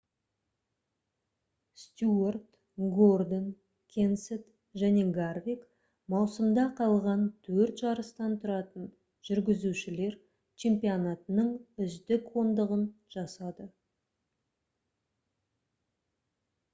стюарт гордон кенсет және гарвик маусымда қалған төрт жарыстан тұратын жүргізушілер чемпионатының үздік ондығын жасады